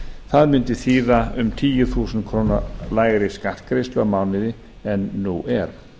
það mundi þýða um tíu þúsund krónum lægri skattgreiðslu á mánuði en nú er